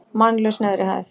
Mannlaus neðri hæð.